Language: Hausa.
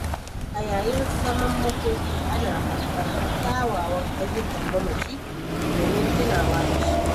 A yayin zaman makoki ana faɗar kyawawan ayyukan mamaci domin tunawa da shi.